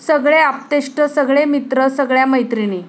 सगळे आप्तेष्ट, सगळे मित्र, सगळय़ा मैत्रिणी.